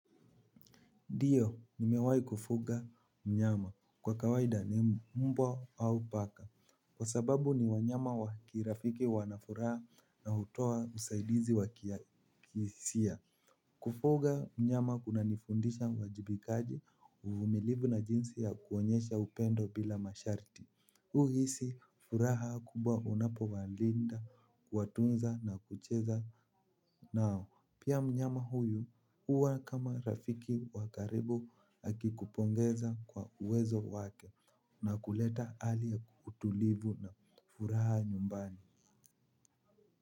Ndiyo, nimewai kufuga mnyama kwa kawaida mbwa au paka. Kwa sababu ni wanyama wakirafiki wanafuraha, na hutoa usaidizi wa kihisia. Kufuga mnyama kuna nifundisha uwajibikaji uvumilivu na jinsi ya kuonyesha upendo bila masharti. Huhisi furaha kubwa unapowalinda, kuwatunza, na kucheza nao. Pia mnyama huyu huwa kama rafiki wa karibu akikupongeza kwa uwezo wake na kuleta hali ya utulivu na furaha nyumbani.